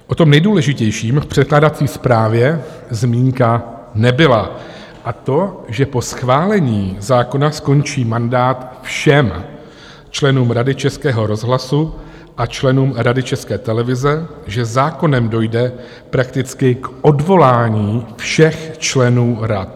O tom nejdůležitějším v překládací zprávě zmínka nebyla, a to, že po schválení zákona skončí mandát všem členům Rady Českého rozhlasu a členům Rady České televize, že zákonem dojde prakticky k odvolání všech členů rad.